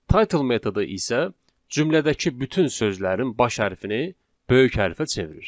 Title metodu isə cümlədəki bütün sözlərin baş hərfini böyük hərfə çevirir.